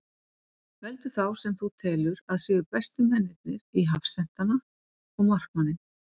Veldu þá sem þú telur að séu bestu mennirnir í hafsentana og markmanninn.